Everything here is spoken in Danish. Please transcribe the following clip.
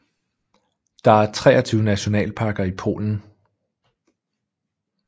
Der er 23 nationalparker i Polen